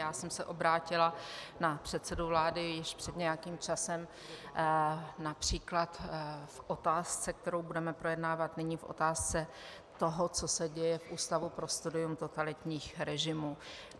Já jsem se obrátila na předsedu vlády již před nějakým časem například k otázce, kterou budeme projednávat nyní, k otázce toho, co se děje v Ústavu pro studium totalitních režimů.